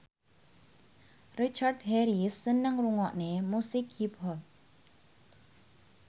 Richard Harris seneng ngrungokne musik hip hop